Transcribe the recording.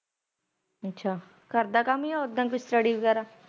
ਅੱਛਾ ਘਰ ਦਾ ਕੰਮ ਜਾ ਉਦਾ ਹੀ ਕੋਈ ਸਟੱਡੀ ਵਗੈਰਾ।